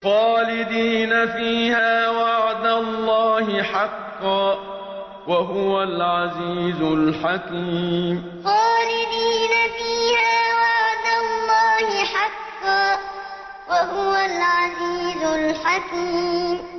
خَالِدِينَ فِيهَا ۖ وَعْدَ اللَّهِ حَقًّا ۚ وَهُوَ الْعَزِيزُ الْحَكِيمُ خَالِدِينَ فِيهَا ۖ وَعْدَ اللَّهِ حَقًّا ۚ وَهُوَ الْعَزِيزُ الْحَكِيمُ